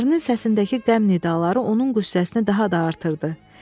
Ərinin səsindəki qəm nidaları onun qüssəsini daha da artırdı.